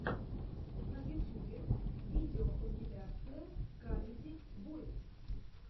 на ютюбе видеокомпиляция камеди бойз